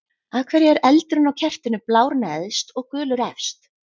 Af hverju er eldurinn á kertinu blár neðst og gulur efst?